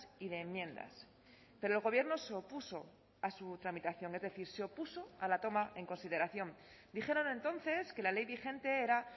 y de enmiendas pero el gobierno se opuso a su tramitación es decir se opuso a la toma en consideración dijeron entonces que la ley vigente era